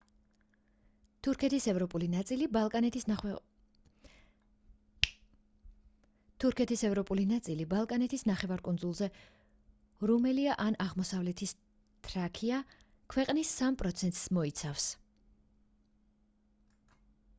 თურქეთის ევროპული ნაწილი ბალკანეთის ნახევარკუნძულზე რუმელია ან აღმოსავლეთ თრაკია ქვეყნის 3%-ს მოიცავს